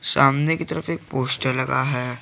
सामने की तरफ एक पोस्टर लगा है।